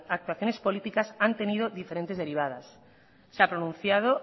actuaciones políticas han tenido diferentes derivadas se han pronunciado